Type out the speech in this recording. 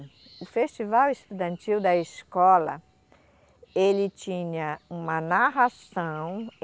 O Festival Estudantil da escola ele tinha uma narração.